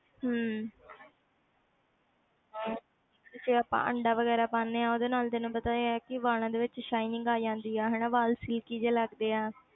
ਹਮ ਤੇ ਜੇ ਆਪਾਂ ਅੰਡਾ ਵਗ਼ੈਰਾ ਪਾਉਂਦੇ ਹਾਂ ਉਹਦੇ ਨਾਲ ਤੈਨੂੰ ਪਤਾ ਹੀ ਹੈ ਕਿ ਵਾਲਾਂ ਦੇ ਵਿੱਚ shining ਆ ਜਾਂਦੀ ਆ ਹਨਾ ਵਾਲ silky ਜਿਹੇ ਲੱਗਦੇ ਆ।